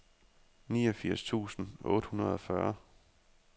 niogfirs tusind otte hundrede og fyrre